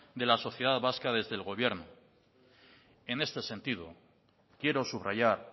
de la sociedad vasca desde el gobierno en este sentido quiero subrayar